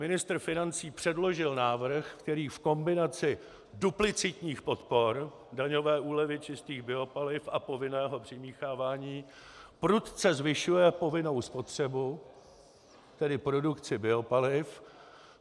Ministr financí předložil návrh, který v kombinaci duplicitních podpor, daňové úlevy čistých biopaliv a povinného přimíchávání prudce zvyšuje povinnou spotřebu, tedy produkci biopaliv.